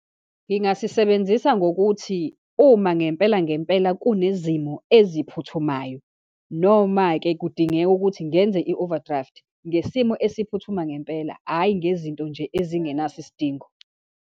Ngingasisebenzisa ngokuthi uma ngempela, ngempela kunezimo eziphuthumayo, noma-ke kudingeka ukuthi ngenze i-overdraft ngesimo esiphuthuma ngempela, hhayi ngezinto nje ezingenaso isidingo.